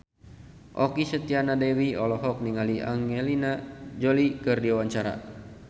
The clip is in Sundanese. Okky Setiana Dewi olohok ningali Angelina Jolie keur diwawancara